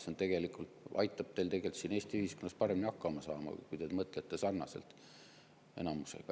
See tegelikult aitab teil siin Eesti ühiskonnas paremini hakkama saama, kui te mõtlete sarnaselt enamusega.